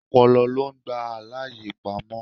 Ọpọlọ lo ń gba àlàyé pamó.